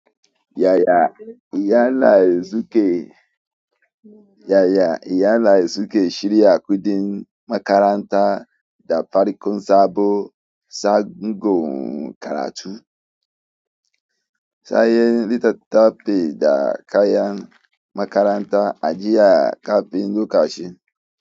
Yaya iyali suke, yaya iyali suke shirya kuɗin makaranta da farkon sabon sabon karatu? Sayayen littattafai da kayan makaranta a jiya kafin lokaci.